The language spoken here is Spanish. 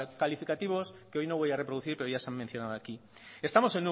calificativos que hoy no voy a reproducir pero ya se han mencionado aquí estamos